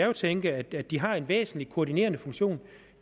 jo tænke at de har en væsentlig koordinerende funktion